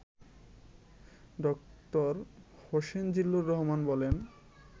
ড. হোসেন জিল্লুর রহমান বলেন